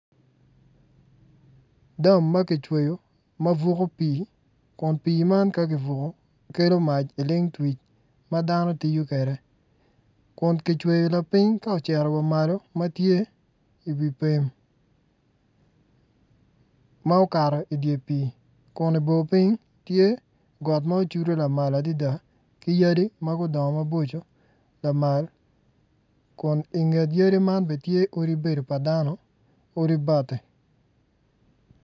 Dam ma kicweyo ma buko pii kun pii man ka kibuko kelo mac ilengtwic ma dano gitiyo kwede kun kicweyo lapiny dok cito malo i wi pem ma okato i dye pii kun i bor piny tye got ma ocudu adada ki yadi ma odongo maboco lamal kun i nget odi man tye odi bati.